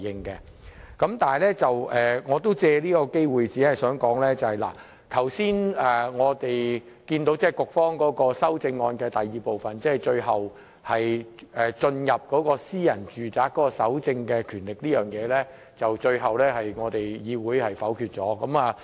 然而，我想借這個機會說一說，我們剛才看到局方修正案的第二部分，即有關進入私人住宅搜證的權力這部分，最終被議會否決。